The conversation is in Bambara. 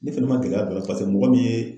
Ne fɛnɛ ma gɛlɛya don a la paseke mɔgɔ min ye